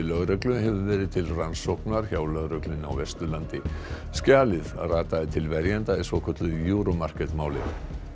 lögreglu hefur verið til rannsóknar hjá lögreglunni á Vesturlandi skjalið rataði til verjanda í svokölluðu Euro Market máli